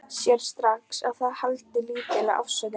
Sér strax að það er haldlítil afsökun.